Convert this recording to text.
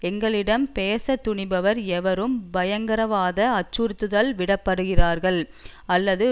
எங்களிடம் பேசத்துணிபவர் எவரும் பயங்கரவாத அச்சுறுத்தல் விடப்படுகிறார் அல்லது